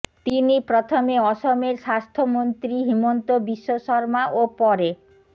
তিনি প্রথমে অসমের স্বাস্থ্যমন্ত্রী হিমন্ত বিশ্ব শর্মা ও পরে